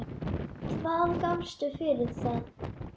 Hvað gafstu fyrir það?